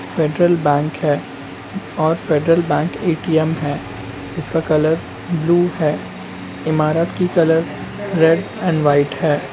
Federal bank है और federal bank ATM है इसका कलर ब्लू है इमारत की कलर रेड एंड वाइट है।